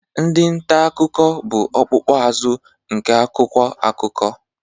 Ndị nta akụkọ bụ ọkpụkpụ azụ nke akwụkwọ akụkọ.